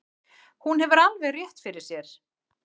Hún hefur alveg rétt fyrir sér.